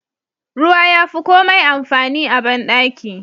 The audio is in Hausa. Ruwa yafi komai amfani a bandaki.